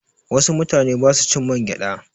Wasu mutane ba su cin mangyaɗa.